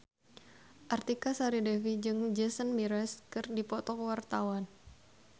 Artika Sari Devi jeung Jason Mraz keur dipoto ku wartawan